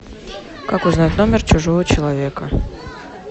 как узнать номер чужого человека